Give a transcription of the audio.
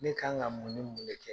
Ne kan ka mun ni mun de kɛ?